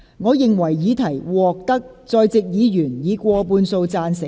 我認為議題獲得在席議員以過半數贊成。